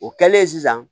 O kɛlen sisan